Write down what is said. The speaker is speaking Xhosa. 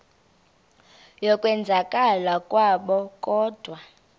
yokwenzakala kwabo kodwa